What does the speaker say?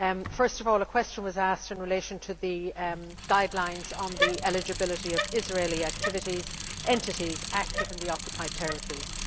First of all, a question was asked in relation to the guidelines on the eligibility of Israeli entities active in the occupied territories.